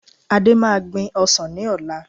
Ade máa gbìn ọsàn ní ọ̀la